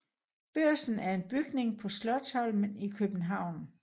Børsen er en bygning på Slotsholmen i København